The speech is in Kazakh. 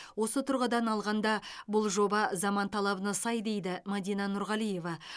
осы тұрғыдан алғанда бұл жоба заман талабына сай дейді мадина нұрғалиева